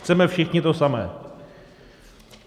Chceme všichni to samé.